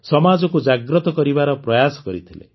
ସମାଜକୁ ଜାଗ୍ରତ କରିବାର ପ୍ରୟାସ କରିଥିଲେ